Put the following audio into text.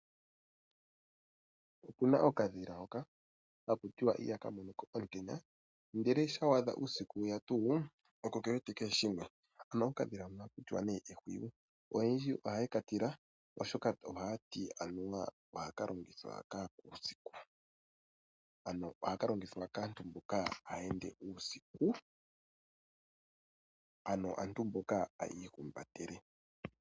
Okuna okadhila hoka hakutiwa ihaka monoko omutenya ndele shampa wa adha uusiku weya oko kewete kehe shimwe ano okadhila hono ohakutiwa nee Ehwiyu. Oyendji ohaye katila oshoka oha ka longithwa kaakwa usiku ,,ano hakalongithwa kaantu mboka haya ende uusiku ano aantu mboka hayi ihumbatele.